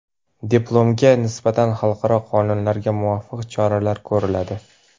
diplomatga nisbatan xalqaro qonunlarga muvofiq choralar ko‘riladi.